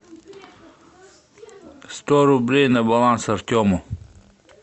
сто рублей на баланс артему